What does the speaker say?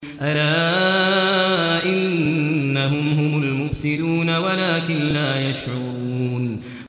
أَلَا إِنَّهُمْ هُمُ الْمُفْسِدُونَ وَلَٰكِن لَّا يَشْعُرُونَ